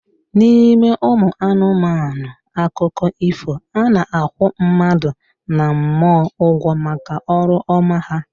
N'ime ụmụ anụmanụ akụkọ ifo, a na-akwụ mmadụ na mmụọ ụgwọ maka ọrụ ọma ha